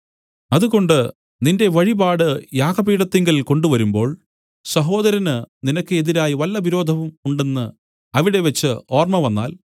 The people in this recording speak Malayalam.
അതുകൊണ്ട് നിന്റെ വഴിപാട് യാഗപീഠത്തിങ്കൽ കൊണ്ടുവരുമ്പോൾ സഹോദരന് നിനക്ക് എതിരായി വല്ലവിരോധവും ഉണ്ടെന്ന് അവിടെവച്ച് ഓർമ്മവന്നാൽ